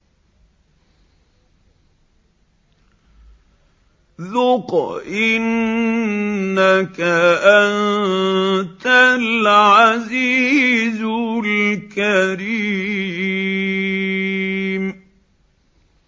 ذُقْ إِنَّكَ أَنتَ الْعَزِيزُ الْكَرِيمُ